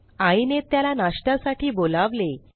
आईने त्याला नाश्त्यासाठी बोलावले